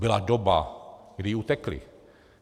Byla doba, kdy jí utekli.